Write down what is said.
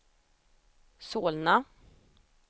Solna